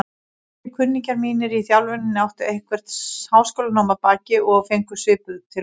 Fleiri kunningjar mínir í þjálfuninni áttu eitthvert háskólanám að baki og fengu svipuð tilboð.